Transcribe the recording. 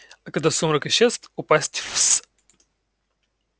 а когда сумрак исчез упасть в с